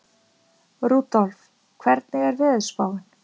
Rudolf, hvernig er veðurspáin?